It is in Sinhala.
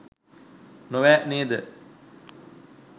නොවැ නේද?